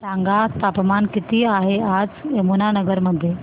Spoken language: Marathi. सांगा तापमान किती आहे आज यमुनानगर मध्ये